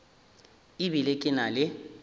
e bile ke na le